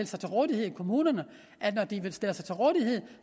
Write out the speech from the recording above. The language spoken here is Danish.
sig til rådighed i kommunerne at når de stiller sig til rådighed